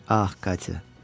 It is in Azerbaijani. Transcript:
Ax, Katya.